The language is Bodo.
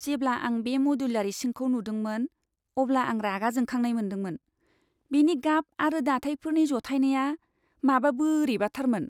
जेब्ला आं बे मदुलार इसिंखौ नुदोंमोन, अब्ला आं रागा जोंखांनाय मोनदोंमोन। बेनि गाब आरो दाथायफोरनि जथायनाया माबा बोरैबाथारमोन!